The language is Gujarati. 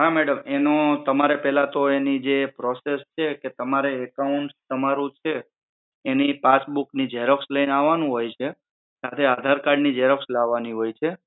હા madam તમારે પેહલા તો એની જે process છે કે તમારે account તમારું છે એની passbook ની XEROX લઈને આવાનું હોય છે સાથે આધાર card ની XEROX લાવાની હોય છે